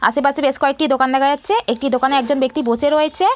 আশেপাশে বেশ কয়েকটি দোকান দেখা যাচ্ছে। একটি দোকানে একজন ব্যক্তি বসে রয়েচে-এ।